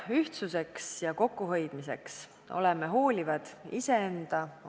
Järgmisena palun kõnetooli Keskerakonna fraktsiooni nimel Kersti Sarapuu.